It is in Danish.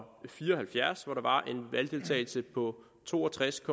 fire og halvfjerds hvor der var en valgdeltagelse på to og tres